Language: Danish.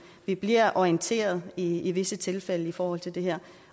vi bliver orienteret i i visse tilfælde i forhold til det her